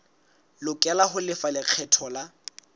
lokela ho lefa lekgetho la